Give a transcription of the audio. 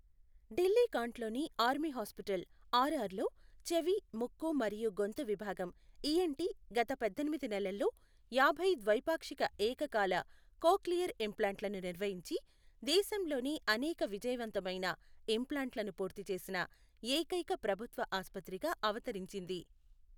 ఢిల్లీ కాంట్లోని army hospital R R లో చెవి, ముక్కు మరియు గొంతు విభాగం ఈఎన్టీ గత పద్దెనిమిది నెలల్లో యాభై ద్వైపాక్షిక ఏకకాల కోక్లియర్ ఇంప్లాంట్లను నిర్వహించి దేశంలోనే అనేక విజయవంతమైన ఇంప్లాంట్లను పూర్తి చేసిన ఏకైక ప్రభుత్వ ఆసుపత్రిగా అవతరించింది.